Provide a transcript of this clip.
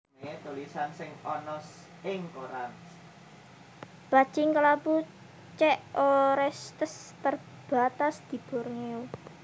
Bajing kelabu C orestes terbatas di Borneo